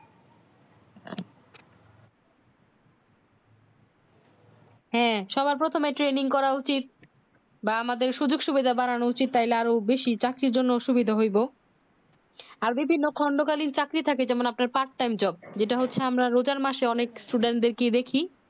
হ্যাঁ সবার প্রথমে training করা উচিত বা আমাদের সুযোগ সুবিধা বাড়ানো উচিত তাইলে আরো বেশি চাকরির জন্যে সুবিধা হইবো আর যদি খন্ড কালীন চাকরি থাকে যেমন আপনার part time job যেটা হচ্ছে আমরা রোজার মাসে অনেক students দেড় কেয় দেখি